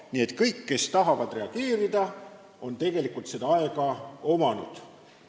Nii et kõigil, kes on tahtnud reageerida, on tegelikult selleks aega olnud.